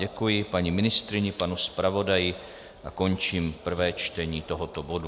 Děkuji paní ministryni, panu zpravodaji a končím prvé čtení tohoto bodu.